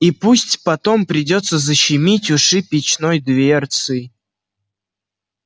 и пусть потом придётся защемить уши печной дверцей